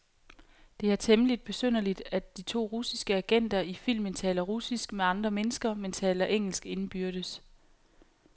Det er temmeligt besynderligt, at de to russiske agenter i filmen taler russisk med andre mennesker, men engelsk indbyrdes.